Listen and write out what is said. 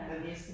Ja